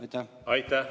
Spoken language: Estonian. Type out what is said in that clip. Aitäh!